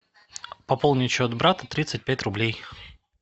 пополнить счет брата тридцать пять рублей